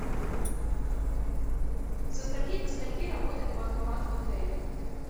со скольки до скольки работает банкомат в отеле